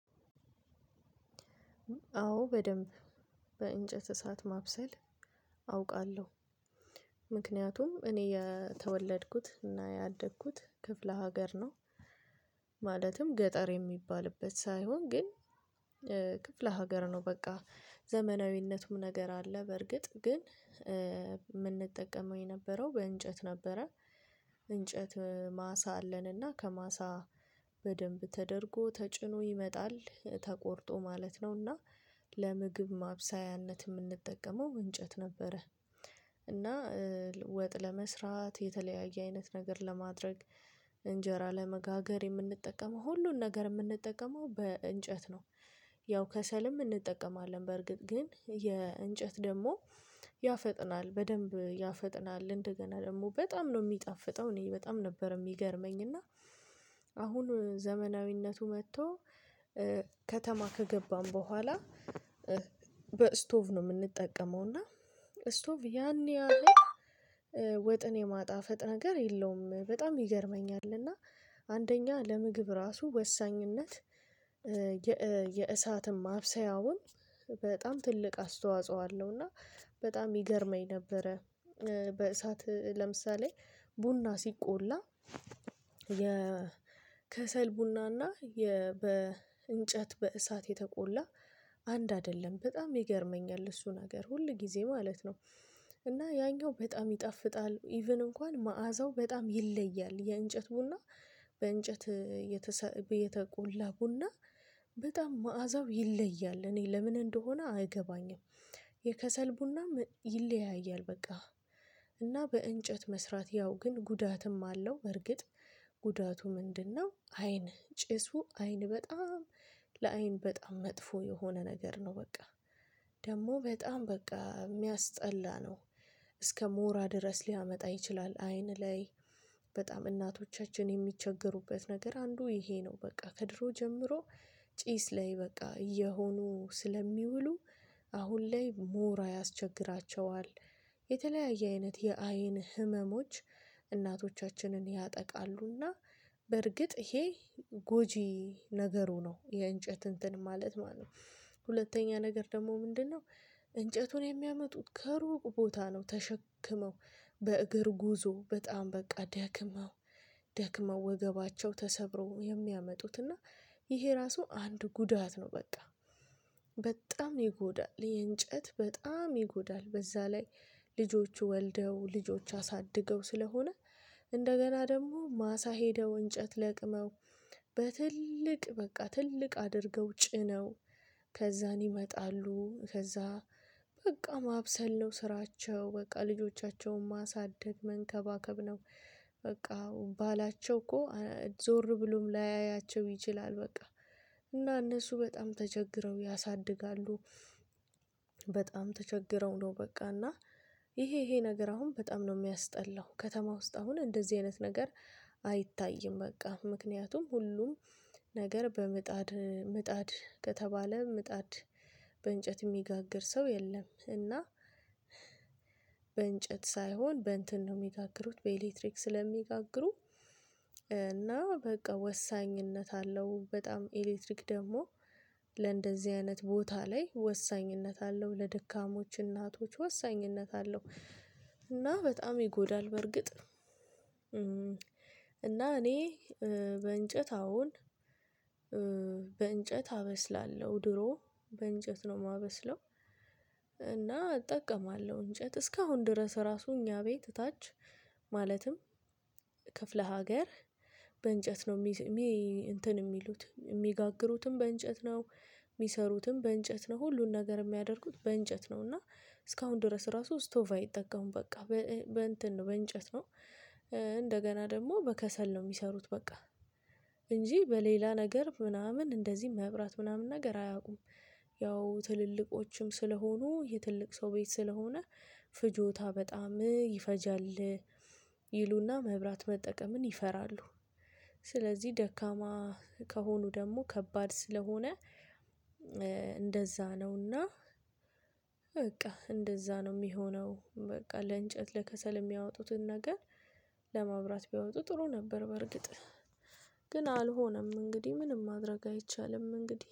አዎ በደንብ በእንጨት እሳት ማብሰል አውቃለሁ። ምክንያቱም እኔ የተወለድኩት እና ያደግኩት ክፍለ ሀገር ነው። ማለትም ገጠር የሚባልበት ሳይሆን ግን ክፍለ ሀገር ነው። በቃ ዘመናዊነቱም ነገር አለ በርግጥ ግን የምንጠቀመው የነበረው በእንጨት ነበረ። እንጨት ማሳ አለንና ከማሳ በደንብ ተደርጎ ተጭኖ ይመጣል ተቆርጦ ማለት ነው እና ለምግብ ማብሰያነት የምንጠቀመው እንጨት ነበረ። እና ወጥ ለመስራት የተለያየ አይነት ነገር ለማድረግ እንጀራ ለመጋገር የምንጠቀመው ሁሉን ነገር የምንጠቀመው በእንጨት ነው። ያው ከሰልም እንጠቀማለን በእርግጥ ግን የእንጨት ደግሞ ያፈጥናል በደንብ ያፈጥናል እንደገና ደግሞ በጣም ነው የሚጣፍጠው እኔ በጣም ነበር የሚገርመኝ። እና አሁን ዘመናዊነቱ መጥቶ ከተማ ከገባን በኋላ በስቶቭ ነው የምንጠቀመው። እና ስቶቭ ያኔ ያኔ ወጥን የማጣፈጥ ነገር የለውም በጣም ይገርመኛል። እና አንደኛ ለምግብ ራሱ ወሳኝነት የእሳትም አብሰያውም በጣም ትልቅ አስተዋጽኦ አለው። እና በጣም ይገርመኝ ነበረ። በእሳት ለምሳሌ ቡና ሲቆላ የ ከሰል ቡናና የ በእንጨት በእሳት የተቆላ አንድ አይደለም በጣም ይገርመኛል። እሱን ነገር ሁል ጊዜ ማለት ነው። እና ያኛው በጣም ይጣፍጣል ኢቭን እንኳን መዓዛው በጣም ይለያል የእንጨት ቡና በእንጨት የተሰ የተቆላ ቡና። በጣም መዓዛው ይለያል እኔ ለምን እንደሆነ አገባኝም። የከሰል ቡና ይለያያል በቃ። እና በእንጨት መስራት ያው ግን ጉዳትም አለው። እርግጥ ጉዳቱ ምንድነው? አይን ጭሱ አይን በጣም ለአይን በጣም መጥፎ የሆነ ነገር ነው። በቃ ደግሞ በጣም በቃ የሚያስጠላ ነው። እስከ ሞራ ድረስ ሊያመጣ ይችላል። አይን ላይ በጣም እናቶቻችን የሚቸገሩበት ነገር አንዱ ይሄ ነው። በቃ ከድሮ ጀምሮ ጪስ ላይ በቃ እየሆኑ ስለሚውሉ አሁን ላይ ሞራ ያስቸግራቸዋል። የተለያየ አይነት የአይን ህመሞች እናቶቻችንን ያጠቃሉና በርግጥ ይሄ ጎጂ ነገሩ ነው። የእንጨት እንትን ማለት ማለት ነው። ሁለተኛ ነገር ደግሞ ምንድነው? እንጨቱን የሚያመጡት ከሩቅ ቦታ ነው ተሸክመው በእግር ጉዞ በጣም በቃ ደክመው ደክመው ወገባቸው ተሰብረው የሚያመጡትና እና ይሄ ራሱ አንድ ጉዳት ነው። በቃ በጣም ይጎዳል የእንጨት በጣም ይጎዳል። በዛ ላይ ልጆቹ ወልደው ልጆቹ አሳድገው ስለሆነ እንደገና ደግሞ ማሳ ሄደው እንጨት ለቅመው በትልቅ በቃ ትልቅ አድርገው ጭነው ከዛን ይመጣሉ ከዛ በቃ ማብሰል ነው ስራቸው በቃ ልጆቻቸውን ማሳደግ መንከባከብ ነው። በቃ ባላቸው እኮ ዞር ብሎም ላያያቸው ይችላል። በቃ እና እነሱ በጣም ተቸግረው ያሳድጋሉ። በጣም ተቸግረው ነው በቃ እና ይሄ ይሄ ነገር አሁን በጣም ነው የሚያስጠላው። ከተማ ውስጥ አሁን እንደዚህ አይነት ነገር አይታይም በቃ ምክንያቱም ሁሉም ነገር በምጣድ ምጣድ ከተባለ ምጣድ በእንጨት የሚጋግር ሰው የለም። እና በእንጨት ሳይሆን በእንትን ነው የሚጋግሩት በኤሌክትሪክ ስለሚጋግሩ። እና በቃ ወሳኝነት አለው በጣም ኤሌክትሪክ ደግሞ ለእንደዚህ አይነት ቦታ ላይ ወሳኝነት አለው ለድካሞች እናቶች ወሳኝነት አለው። እና በጣም ይጎዳል። በርግጥ እኔ በእንጨት አሁን በእንጨት አበስላለሁ ድሮ በእንጨት ነው የማበስለው። እና እጠቀማለሁ እንጨት እስካሁን ድረስ ራሱ እኛ ቤት ታች ማለትም ክፍለ ሀገር በእንጨት ነው የሚል እንትን የሚሉት የሚጋግሩትም በእንጨት ነው። የሚሰሩትም በእንጨት ነው ሁሉን ነገር የሚያደርጉት በእንጨት ነው። እና እስካሁን ድረስ ራሱ ስቶቭ አይጠቀሙም በቃ። በእንጨት ነው። እንደገና ደግሞ በከሰል ነው የሚሰሩት በቃ። እንጂ በሌላ ነገር ምናምን እንደዚህ መብራት ምናምን ነገር። ያው ትልልቆችም ስለሆኑ የትልቅ ሰው ቤት ስለሆነ ፍጆታ በጣም ይፈጃል። ይሉና መብራት መጠቀምን ይፈራሉ። ስለዚህ ደካማ ከሆኑ ደግሞ ከባድ ስለሆነ። እንደዛ ነውና። በቃ እንደዛ ነው የሚሆነው። በቃ ለእንጨት ለከሰል የሚያወጡትን ነገር ለማብራት ቢያወጡ ጥሩ ነበር። በርግጥ ግን አልሆነም እንግዲህ ምንም ማድረግ አይቻልም። እንግዲህ